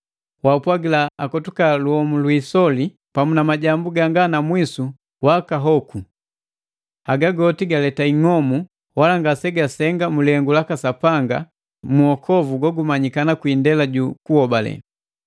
Wapwagila akotuka iyomu hi isoli, pamu na majambu ganga na mwisu wakahoku. Haga goti galeta ing'omu, wala nga sindu ngaseyasenga mu lihengu laka Sapanga gu uhokovu, gogumanyikana kwii indela ju kuhobale.